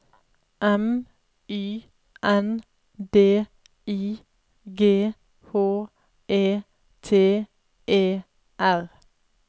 M Y N D I G H E T E R